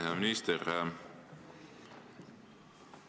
Hea minister!